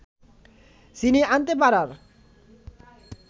ছিনিয়ে আনতে পারার